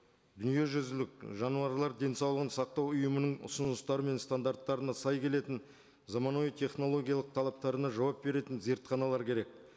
дүниежүзілік жануарлар денсаулығын сақтау ұйымының ұсыныстары мен стандарттарына сай келетін заманауи технологиялық талаптарына жауап беретін зертханалар керек